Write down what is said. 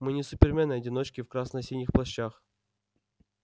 мы не супермены-одиночки в красно-синих плащах